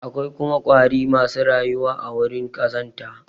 Akwai kuma ƙwari masu rayuwa a wurin ƙazanta.